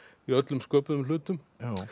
í öllum sköpuðum hlutum